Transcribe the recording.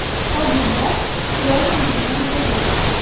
Qolganlar kelolmaydigan bo‘ldi.